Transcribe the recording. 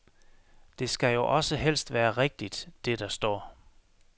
Det skal jo også helst være rigtigt, det der står.